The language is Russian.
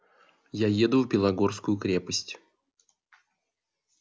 я еду в белогорскую крепость